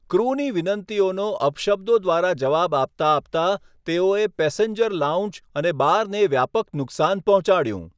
ક્રૂની વિનંતીઓનો અપશબ્દો દ્વારા જવાબ આપતા આપતા તેઓએ પેસેન્જર લાઉન્જ અને બારને વ્યાપક નુકસાન પહોંચાડ્યું.